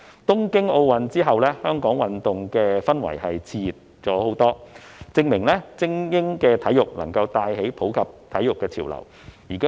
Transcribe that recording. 香港的運動氛圍在東京奧運會後熾熱了很多，證明精英體育能夠帶起普及體育的潮流。